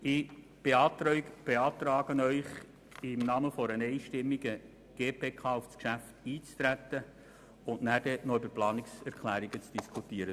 Die GPK hat einstimmig beschlossen, Ihnen zu empfehlen, auf dieses Geschäft einzutreten und danach über die Planungserklärungen zu diskutieren.